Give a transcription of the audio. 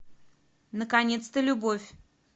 наконец то любовь